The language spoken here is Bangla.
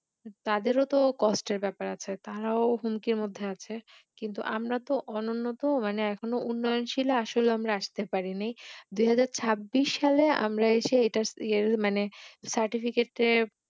তাদের ও তো কষ্টের ব্যাপার আছে তারাও হুমকির মধ্যে আছে কিন্তু আমরা তো অনুন্নত মানে এখন উন্নয়নশীল আসলে আমরা আসতে পারিনি দুই হাজার ছাব্বিশ সালে আমরা এসে এটা ইয়ে মানে Certificate এর